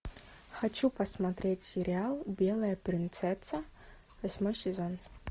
хочу посмотреть сериал белая принцесса восьмой сезон